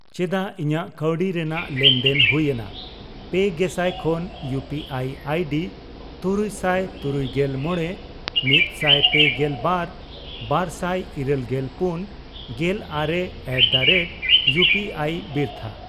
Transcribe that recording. ᱪᱮᱫᱟᱜ ᱤᱧᱟᱜ ᱠᱟᱣᱰᱤ ᱨᱮᱱᱟᱜ ᱞᱮᱱᱫᱮᱱ ᱦᱩᱭᱮᱱᱟ? 3000ᱯᱮ ᱜᱮᱥᱟᱭ ᱠᱷᱚᱱ ᱤᱭᱩ ᱯᱤ ᱟᱭ ᱟᱭᱰᱤ ᱛᱩᱨᱩᱭᱥᱟᱭ ᱛᱩᱨᱩᱭᱜᱮᱞ ᱢᱚᱲᱮ ,ᱢᱤᱛᱥᱟᱭ ᱯᱮᱜᱮᱞ ᱵᱟᱨ ,ᱵᱟᱨᱥᱟᱭ ᱤᱨᱟᱹᱞᱜᱮᱞ ᱯᱩᱱ ,ᱜᱮᱞ ᱟᱨᱮ ᱮᱴᱫᱟᱨᱮᱴ ᱤᱭᱩᱯᱤᱟᱭ ᱵᱤᱨᱛᱷᱟ ?